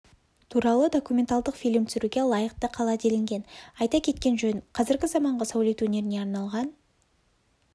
туралы документалдық фильм түсіруге лайықты қала делінген айта кеткен жөн қазіргі заманғы сәулет өнеріне арналған